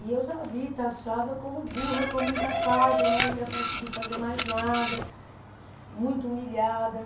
E eu já ali taxada como burra, como incapaz, eu não ia conseguir fazer mais nada, muito humilhada.